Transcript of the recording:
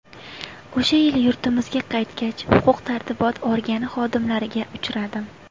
O‘sha yili yurtimizga qaytgach, huquq tartibot organi xodimlariga uchradim.